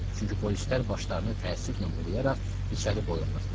Çünki polislər başlarını təəssüflə bulayaraq içəri boylanırdılar.